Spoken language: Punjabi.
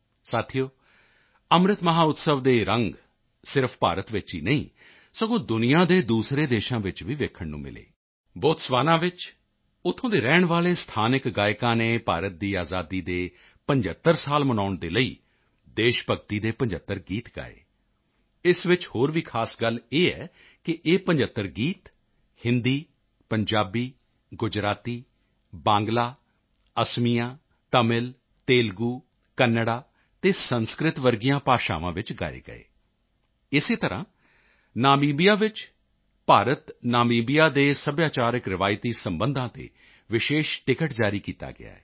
ਸਾਥੀਓ ਅੰਮ੍ਰਿਤ ਮਹੋਤਸਵ ਦੇ ਇਹ ਰੰਗ ਸਿਰਫ਼ ਭਾਰਤ ਵਿੱਚ ਹੀ ਨਹੀਂ ਬਲਕਿ ਦੁਨੀਆ ਦੇ ਦੂਸਰੇ ਦੇਸ਼ਾਂ ਵਿੱਚ ਵੀ ਦੇਖਣ ਨੂੰ ਮਿਲੇ ਬੋਤਸਵਾਨਾ ਵਿੱਚ ਉੱਥੋਂ ਦੇ ਰਹਿਣ ਵਾਲੇ ਸਥਾਨਕ ਗਾਇਕਾਂ ਨੇ ਭਾਰਤ ਦੀ ਆਜ਼ਾਦੀ ਦੇ 75 ਸਾਲ ਮਨਾਉਣ ਦੇ ਲਈ ਦੇਸ਼ ਭਗਤੀ ਦੇ 75 ਗੀਤ ਗਾਏ ਇਸ ਵਿੱਚ ਹੋਰ ਵੀ ਖ਼ਾਸ ਗੱਲ ਇਹ ਹੈ ਕਿ ਇਹ 75 ਗੀਤ ਹਿੰਦੀ ਪੰਜਾਬੀ ਗੁਜਰਾਤੀ ਬਾਂਗਲਾ ਅਸਮੀਆ ਤਮਿਲ ਤੇਲਗੂ ਕਨ੍ਹੜਾ ਅਤੇ ਸੰਸਕ੍ਰਿਤ ਵਰਗੀਆਂ ਭਾਸ਼ਾਵਾਂ ਵਿੱਚ ਗਾਏ ਗਏ ਇਸੇ ਤਰ੍ਹਾਂ ਨਾਮੀਬੀਆ ਵਿੱਚ ਭਾਰਤ ਨਾਮੀਬੀਆ ਦੇ ਸੱਭਿਆਚਾਰਕ ਰਵਾਇਤੀ ਸਬੰਧਾਂ ਤੇ ਵਿਸ਼ੇਸ਼ ਟਿਕਟ ਜਾਰੀ ਕੀਤਾ ਗਿਆ ਹੈ